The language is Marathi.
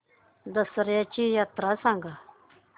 दसर्याची यात्रा सांगा